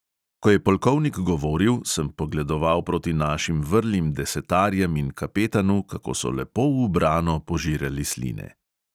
Ko je polkovnik govoril, sem pogledoval proti našim vrlim desetarjem in kapetanu, kako so lepo ubrano požirali sline.